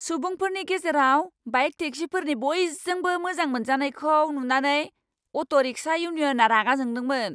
सुबुंफोरनि गेजेराव बाइक टेक्सिफोरनि बयजोंबो मोजां मोनजानायखौ नुनानै अट' रिक्शा इउनियनआ रागा जोंदोंमोन।